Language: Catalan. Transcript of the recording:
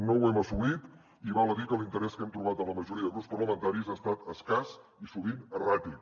no ho hem assolit i val a dir que l’interès que hem trobat en la majoria de grups parlamentaris ha estat escàs i sovint erràtic